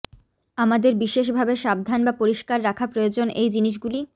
আমাদের বিশেষ ভাবে সাবধান বা পরিষ্কার রাখা প্রয়োজন এই জিনিসগুলি